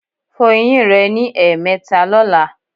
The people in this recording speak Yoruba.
Fọ eyín rẹ ní ẹ̀ẹ̀mẹta lọ́la